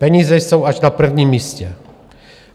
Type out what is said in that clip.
Peníze jsou až na prvním místě.